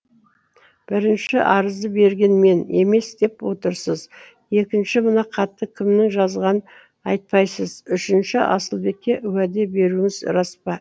бірінші арызды берген мен емес деп отырсыз екінші мына хатты кімнің жазғанын айтпайсыз үшінші асылбекке уәде беруіңіз рас па